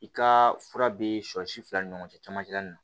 I ka fura be sɔ si fila ni ɲɔgɔn cɛ camancɛ nin na